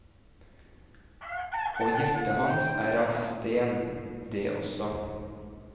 Og hjertet hans er av sten, det også.